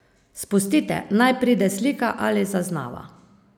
Spustite, naj pride slika ali zaznava.